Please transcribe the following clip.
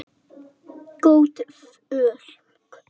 Gott fólk.